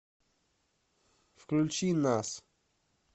включи нас